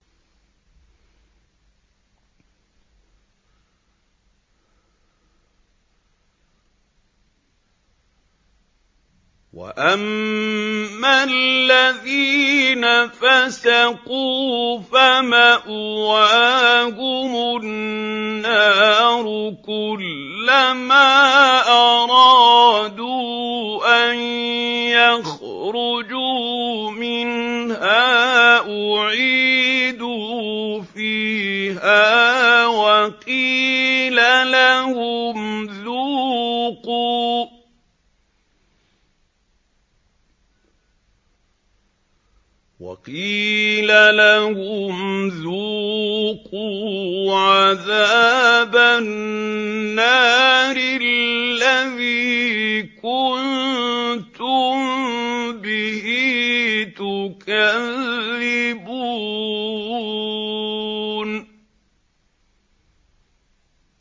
وَأَمَّا الَّذِينَ فَسَقُوا فَمَأْوَاهُمُ النَّارُ ۖ كُلَّمَا أَرَادُوا أَن يَخْرُجُوا مِنْهَا أُعِيدُوا فِيهَا وَقِيلَ لَهُمْ ذُوقُوا عَذَابَ النَّارِ الَّذِي كُنتُم بِهِ تُكَذِّبُونَ